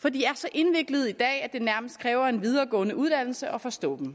for de er så indviklede i dag at det nærmest kræver en videregående uddannelse at forstå dem